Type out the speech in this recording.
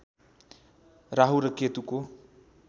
राहु र केतुको